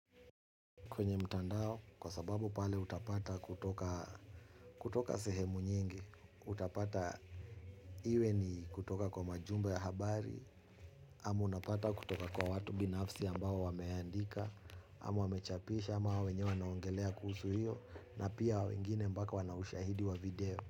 Kwenye mtandao kwa sababu pale utapata kutoka kutoka sehemu nyingi. Utapata iwe ni kutoka kwa majumba ya habari amu unapata kutoka kwa watu binafsi ambao wameandika amu wamechapisha ama wao wenyewe wanaongelea kuhusu hiyo. Na pia wengine mbaka wanaushahidi wa video.